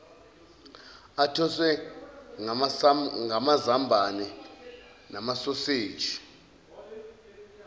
athoswe ngamazambane namasoseji